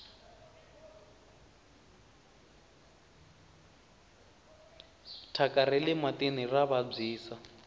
thyaka rale matini ra vabyisa